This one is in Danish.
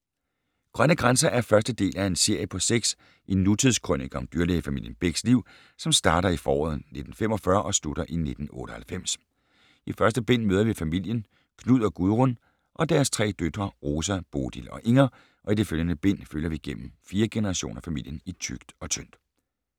Grønne grænser er første del af en serie på seks, en nutidskrønike om dyrlægefamilien Bechs liv, som starter i foråret 1945 og slutter i 1998. I første bind møder vi familien: Knud og Gudrun og deres tre døtre, Rosa, Bodil og Inger, og i de følgende bind følger vi gennem fire generationer familien i tykt og tyndt.